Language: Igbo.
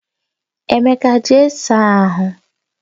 Emeka, jee saa ahụ!